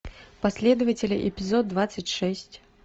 последователи эпизод двадцать шесть